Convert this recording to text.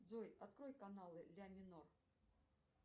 джой открой канал ля минор